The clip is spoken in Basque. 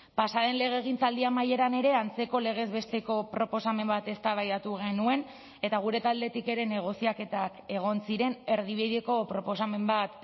pasa den legegintzaldi amaieran ere antzeko legez besteko proposamen bat eztabaidatu genuen eta gure taldetik ere negoziaketak egon ziren erdibideko proposamen bat